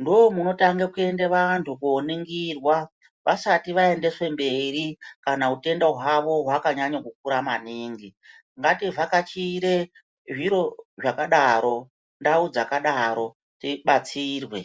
ndoo munotange kuenda vantu kuoningirwa vasati vaendeswa kumberi kana utenda hwavo hwakanyanyo kukura maningi. Ngativhakachire zviro zvakadaro ndau dzakadaro tibatsirwe.